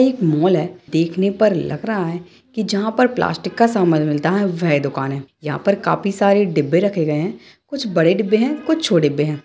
एक मॉल है देखने पर लग रहा है कि जहाँ पर प्लास्टिक का सामान मिलता है वह दुकान है| यहाँ पर काफी सारे डिब्बे रखे गए हैं कुछ बड़े डिब्बे हैं कुछ छो